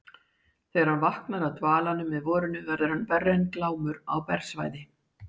Þegar hann vaknar af dvalanum með vorinu verður hann verri en Glámur á bersvæði.